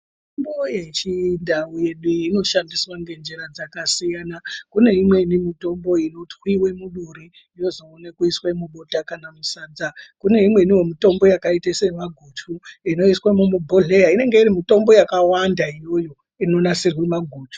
Mitombo yechindau yedu iyi inoshandiswa ngenzira dzakasiyana, kune imweni mitombo inotwiwe muduri yozoone kuiswa mubota kana musadza. Kune imweniwo mitombo yakaite semaguchu inoiswe mubhodhlera inenge iri mitombo yakawanda iyoyo inonasirwa maguchu.